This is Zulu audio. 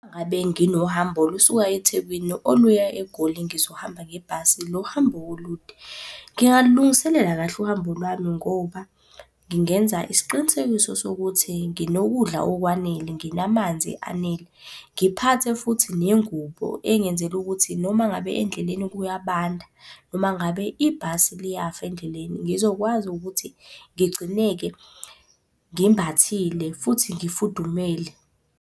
Ngabe nginohambo olusuka eThekwini oluya eGoli ngizohamba ngebhasi lo hambo olude, ngingalilungiselela kahle uhambo lwami ngoba ngingenza isiqinisekiso sokuthi nginokudlula okwanele, nginamanzi anele. Ngiphathe futhi nengubo engenzela ukuthi noma ngabe endleleni kuyabanda noma ngabe ibhasi liyafa endleleni, ngizokwazi ukuthi ngigcineke ngimbathile futhi ngifudumele.